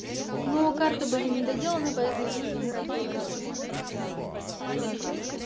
ну а карты были не доделаны поэтому в них играть было невозможно они тупо ну недопечатанные